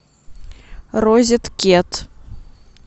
розет кет